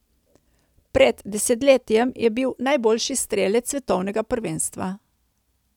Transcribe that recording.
Pred desetletjem je bil najboljši strelec svetovnega prvenstva.